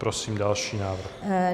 Prosím další návrh.